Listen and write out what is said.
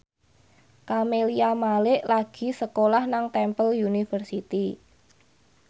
Camelia Malik lagi sekolah nang Temple University